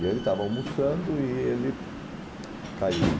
E ele estava almoçando e ele caiu